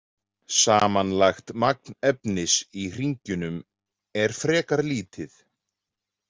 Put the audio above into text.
Samanlagt magn efnis í hringjunum er frekar lítið.